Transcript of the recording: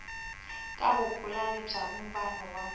ka vupulani bya vumbano wa